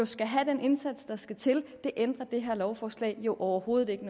skal have den indsats der skal til det ændrer det her lovforslag jo overhovedet ikke